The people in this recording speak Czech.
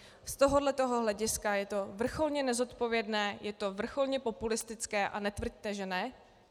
Z tohohle hlediska je to vrcholně nezodpovědné, je to vrcholně populistické a netvrďte že ne.